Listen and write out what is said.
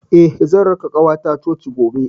Eh, zan raka ƙawata coci gobe.